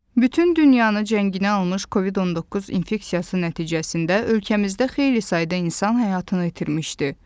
Bütün dünyanı cənginə almış Covid-19 infeksiyası nəticəsində ölkəmizdə xeyli sayda insan həyatını itirmişdi.